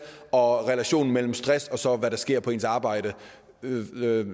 og relationen mellem stress og hvad der sker på ens arbejde